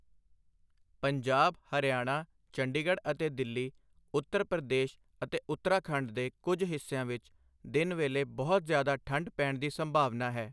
ਪੰਜਾਬ, ਹਰਿਆਣਾ, ਚੰਡੀਗਡ਼੍ਹ ਅਤੇ ਦਿੱਲੀ, ਉੱਤਰ ਪ੍ਰਦੇਸ਼ ਅਤੇ ਉੱਤਰਾਖੰਡ ਦੇ ਕੁਝ ਹਿੱਸਿਆਂ ਵਿਚ ਦਿਨ ਵੇਲੇ ਬਹੁਤ ਜਿਆਦਾ ਠੰਡ ਪੈਣ ਦੀ ਸੰਭਾਵਨਾ ਹੈ।